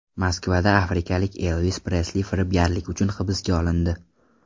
Moskvada afrikalik Elvis Presli firibgarlik uchun hibsga olindi.